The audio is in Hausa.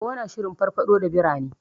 Owo na shirin farfaɗo da birane.